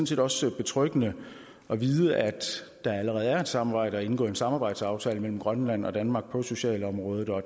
set også betryggende at vide at der allerede er et samarbejde og er indgået en samarbejdsaftale mellem grønland og danmark på det sociale område og